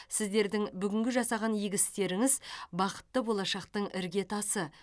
сіздердің бүгінгі жасаған игі істеріңіз бақытты болашақтың іргетасы